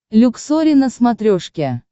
люксори на смотрешке